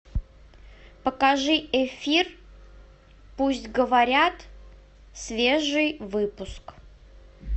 покажи эфир пусть говорят свежий выпуск